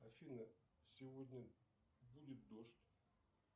афина сегодня будет дождь